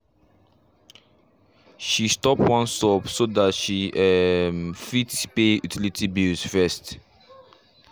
she stop one sub so that she um fit pay utility bills first